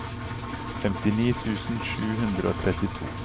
femtini tusen sju hundre og trettito